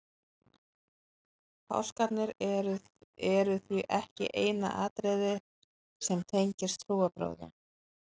páskarnir eru því ekki eina atriðið sem tengir trúarbrögðin